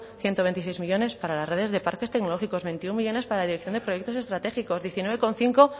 ciento veintiséis millónes para las redes de parques tecnológicos veintiuno millónes para la dirección de proyectos estratégicos diecinueve coma cinco